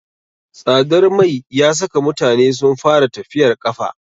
Tsadar mai ya saka mutane sun fara tafiyar ƙafa.